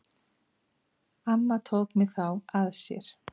Amma tók mig þá að sér.